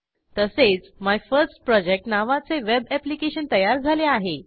तसेच my first project नावाचे web application तयार झाले आहे